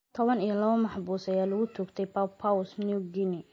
tobaan iyo lawo maxbuus ayaa lagu toogtay Papua New Guinea